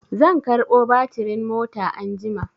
Zan karɓo batirin mota anjima.